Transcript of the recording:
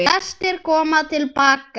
Flestir koma til baka